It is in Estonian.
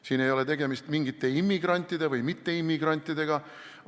Siin ei ole tegemist mingite immigrantide või mitteimmigrantidega.